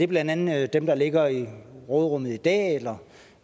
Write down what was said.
blandt andet er dem der ligger i råderummet i dag eller